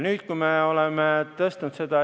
Nüüd me oleme seda tõstnud.